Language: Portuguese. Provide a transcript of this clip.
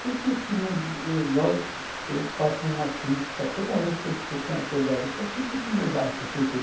Por que que não, igual eu faço uma crítica toda vez que eu estou com autoridade, eu falo, por que que no meu bairro tem cento e oitenta